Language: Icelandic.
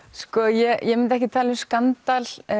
ég myndi ekki tala um skandal